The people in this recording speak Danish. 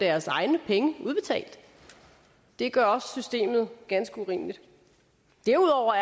deres egne penge udbetalt det gør også systemet ganske urimeligt derudover